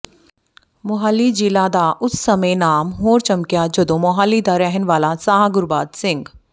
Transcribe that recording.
ਮੋਹਾਲੀ ਜ਼ਿਲ੍ਹਾ ਦਾ ਉਸ ਸਮੇਂ ਨਾਮ ਹੋਰ ਚਮਕਿਆ ਜਦੋਂ ਮੋਹਾਲੀ ਦਾ ਰਹਿਣ ਵਾਲਾ ਸਾਹਗੁਰਬਾਜ਼ ਸਿੰਘ